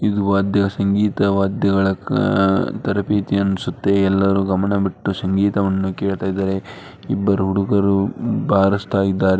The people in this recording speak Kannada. ಇದು ವಾದ್ಯ ಸಂಗೀತ ವಾದ್ಯಗಳ ಆ ತರಬೇತಿ ಅನ್ಸತ್ತೆ ಎಲ್ಲರೂ ಗಮನವಿಟ್ಟು ಸಂಗೀತವನ್ನು ಕೇಳ್ತಾ ಇದ್ದಾರೆ ಇಬ್ಬರು ಹುಡುಗರು ಬಾರಿಸ್ತಾ ಇದ್ದಾರೆ.